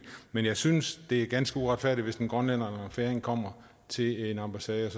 men jeg synes det er ganske uretfærdigt hvis en grønlænder eller færing kommer til en ambassade